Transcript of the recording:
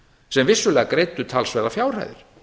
sem vissulega greiddu talsverðar fjárhæðir